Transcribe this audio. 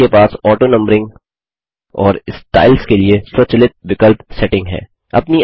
आपके पास ऑटोनंबरिंग और स्टाइल्स के लिए स्वचलित विकल्प सेटिंग है